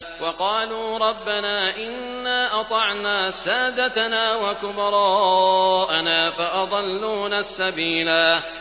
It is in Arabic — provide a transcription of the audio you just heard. وَقَالُوا رَبَّنَا إِنَّا أَطَعْنَا سَادَتَنَا وَكُبَرَاءَنَا فَأَضَلُّونَا السَّبِيلَا